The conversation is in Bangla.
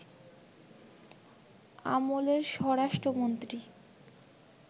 আমলের স্বরাষ্ট্রমন্ত্রী